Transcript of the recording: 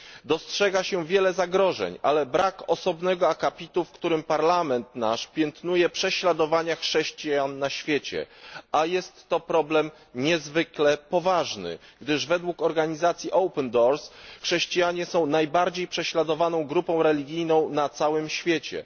Dostrzega się wiele zagrożeń, ale brak osobnego akapitu, w którym Parlament nasz piętnuje prześladowania chrześcijan na świecie, a jest to problem niezwykle poważny, gdyż według organizacji Open Doors chrześcijanie są najbardziej prześladowaną grupą religijną na całym świecie.